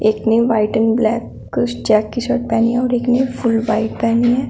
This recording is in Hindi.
इतनी व्हाइट एंड ब्लैक कुछ चैक टी शर्ट एक ने फुल व्हाइट पहनी है।